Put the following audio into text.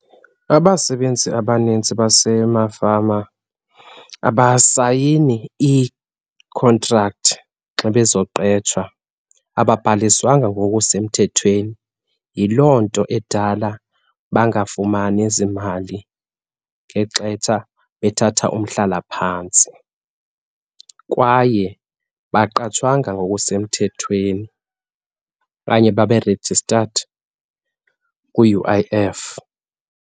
Abasebenzi abaninzi basemafama abasayini iikhontrakthi xa bezoqetshwa, ababhaliswanga ngokusemthethweni. Yiloo nto edala bangafumani zimali ngexetsha bethatha umhlalaphantsi kwaye abaqatshwanga ngokusemthethweni okanye babe registered kwi-U_I_F.